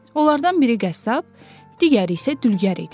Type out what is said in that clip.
Onlardan biri qəssab, digəri isə dülgər idi.